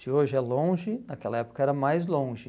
Se hoje é longe, naquela época era mais longe.